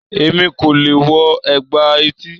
Èmi kò leè wo ègbà etí